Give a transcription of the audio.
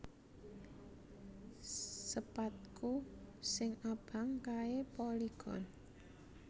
Sepadku sing abang kae Polygon